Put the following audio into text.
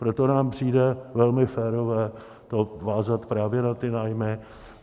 Proto nám přijde velmi férové to vázat právě na ty nájmy.